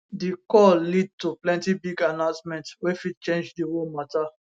di call lead to plenty big announcements wey fit change di war mata